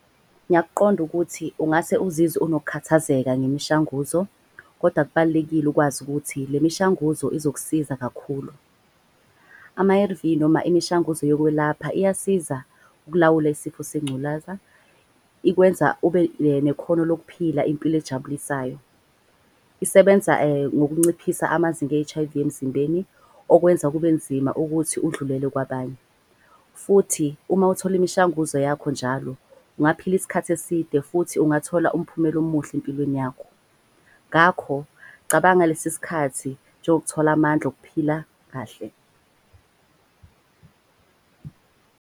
Ngiyakuqonda ukuthi ungase uzizwe unokhathazeka ngemishanguzo. Koda kubalulekile ukwazi ukuthi le mishanguzo izokusiza kakhulu. Ama-A_R_V noma imishanguzo yokwelapha iyasiza ukulawula isifo sengculaza. Ikwenza ube nekhono lokuphila impilo ejabulisayo. Isebenza ngokunciphisa amazinga e-H_I_V emzimbeni. Okwenza kube nzima ukuthi udlulele kwabanye futhi uma uthole imishanguzo yakho njalo. Ungaphila isikhathi eside futhi ungathola umphumela omuhle empilweni yakho. Ngakho cabanga lesi sikhathi njengokuthola amandla okuphila kahle.